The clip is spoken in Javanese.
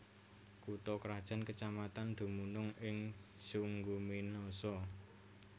Kutha krajan kecamatan dumunung ing Sungguminasa